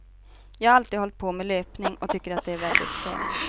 Jag har alltid hållit på med löpning och tycker att det är väldigt skönt.